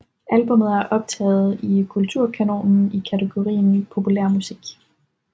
Albummet er optaget i Kulturkanonen i kategorien populærmusik